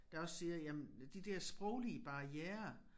Der også siger jamen de der sproglige barrierer